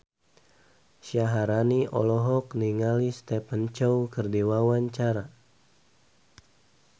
Syaharani olohok ningali Stephen Chow keur diwawancara